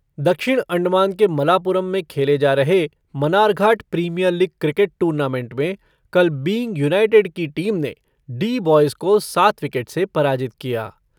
दक्षिण अण्डमान के मलापुरम में खेले जा रहे Manarghat premier league cricket tournament में कल बीइंग यूनाइटेड की टीम ने डी बॉयज़ को सात विकेट से पराजित किया।